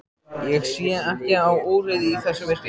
Ég sé ekki á úrið í þessu myrkri.